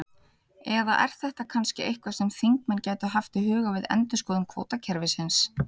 Eða er þetta kannski eitthvað sem þingmenn gætu haft í huga við endurskoðun kvótakerfisins?